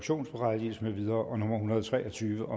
hundrede og tre og tyve